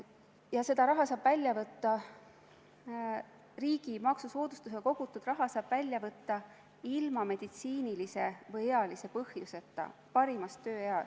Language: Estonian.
Ja selle raha, riigi maksusoodustusega kogutud raha saab välja võtta ilma meditsiinilise või ealise põhjuseta parimas tööeas.